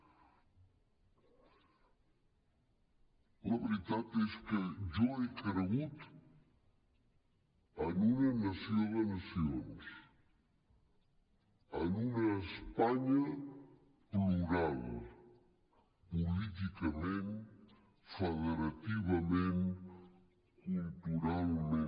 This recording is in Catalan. la veritat és que jo he cregut en una nació de nacions en una espanya plural políticament federativament culturalment